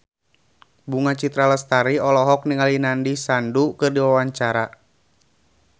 Bunga Citra Lestari olohok ningali Nandish Sandhu keur diwawancara